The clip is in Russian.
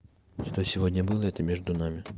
что сегодня было это между нами